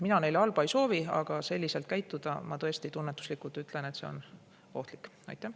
Mina neile halba ei soovi, aga ma tõesti tunnetuslikult ütlen, et selline käitumine on ohtlik.